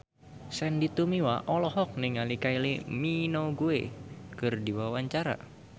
Sandy Tumiwa olohok ningali Kylie Minogue keur diwawancara